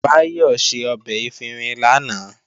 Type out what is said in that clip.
Báyọ̀ ṣe ọbẹ̀ efinrin lánàá